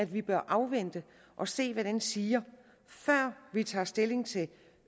vi bør afvente og se hvad den siger før vi tager stilling til